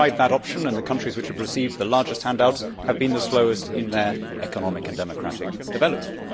We have tried that option, and the countries which have received the largest handouts have been the slowest in their economic and democratic development.